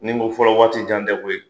Nin ko fɔlɔ, waati jan tɛ koyi!